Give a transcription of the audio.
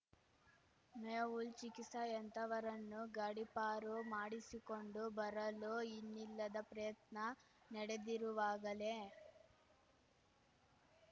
ಮೆಹುಲ್‌ ಚಿಕಿತ್ಸಾಯಂಥವರನ್ನು ಗಡೀಪಾರು ಮಾಡಿಸಿಕೊಂಡು ಬರಲು ಇನ್ನಿಲ್ಲದ ಪ್ರಯತ್ನ ನಡೆದಿರುವಾಗಲೇ